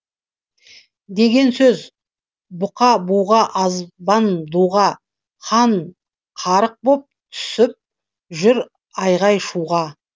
деген сөз бұқа буға азбан дуға хан қарық боп түсіп жүр айғай шуға